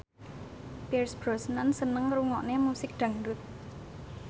Pierce Brosnan seneng ngrungokne musik dangdut